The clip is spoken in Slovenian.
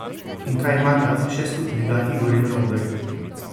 In kaj imata še skupnega Igor in Robert?